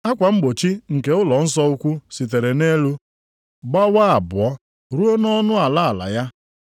Akwa mgbochi nke ụlọnsọ ukwu sitere nʼelu gbawaa abụọ ruo nʼọnụ ala ala ya.